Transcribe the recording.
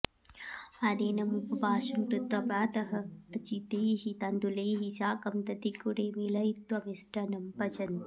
आदिनम् उपवासं कृत्वा प्रातः अर्चितैः तण्डुलैः साकं दधिगुडे मेलयित्वा मिष्टान्नं पचन्ति